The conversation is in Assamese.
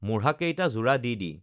মূঢ়াকেটা জোৰা দি দি